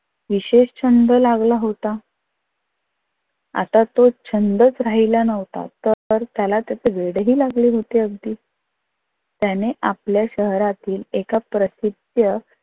विशेष छंद लागला होता. आता तो छंदच राहिला नव्हता तर त्याला त्याच वेडही लागले होते अगदी. त्याने आपल्या शहरातील एका प्रसिद्ध